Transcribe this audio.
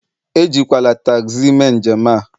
Ejikwala tagzi mee njem a